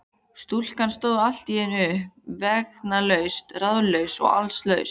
Stúlkan stóð allt í einu uppi vegalaus, ráðalaus og allslaus.